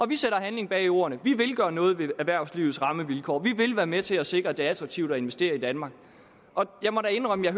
vi sætter handling bag ordene vi vil gøre noget ved erhvervslivets rammevilkår vi vil være med til at sikre at det er attraktivt at investere i danmark jeg må da indrømme at